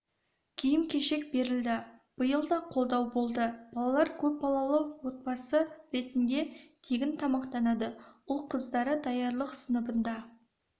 киім-кешек берілді биыл да қолдау болды балалар көпбалалы отбасы ретінде тегін тамақтанады ұл-қыздары даярлық сыныбында